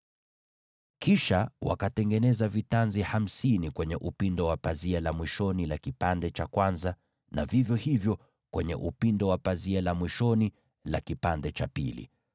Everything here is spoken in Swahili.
Kisha wakatengeneza vitanzi hamsini kwenye upindo wa pazia la mwisho la fungu moja, na vivyo hivyo kwenye upindo wa pazia la mwisho la fungu hilo lingine.